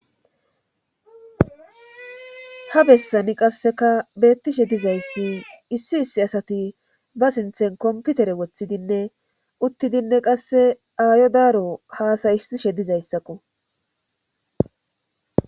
ha bessani qasseka beettishe dizayssi issi issi asati ba sinthen komputere woththidinne uttidinne qasse aayo daaro haasayissishe dizayssakko